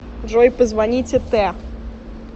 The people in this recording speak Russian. джой позвоните т